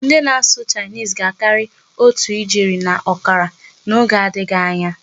Ndị na-asụ 'Chinese' ga-akarị otu ijeri na ọkara n'oge adịghị anya.